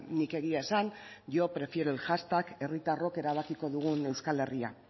nik egia esan yo prefiero el hashtag herritarrok erabakiko dugun euskal herria